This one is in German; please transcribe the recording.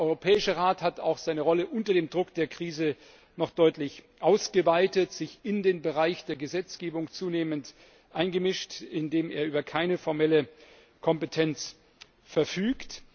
Der Europäische Rat hat seine Rolle auch unter dem Druck der Krise noch deutlich ausgeweitet und sich zunehmend in den Bereich der Gesetzgebung eingemischt, in dem er über keine formelle Kompetenz verfügt.